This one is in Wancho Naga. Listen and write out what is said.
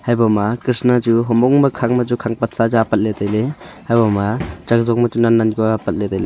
habo ma kisnna chu humong ma khang ma khang pat sa chu apat ley tailey habo ma chak zong ma chu nan ka apat ley tailey.